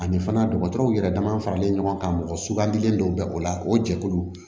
Ani fana dɔgɔtɔrɔw yɛrɛ dama faralen ɲɔgɔn kan mɔgɔ sugandilen dɔ bɛ o la o jɛkulu